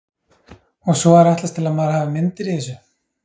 Og svo er ætlast til að maður hafi myndir í þessu.